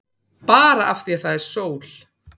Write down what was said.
Bara af því að það er sól.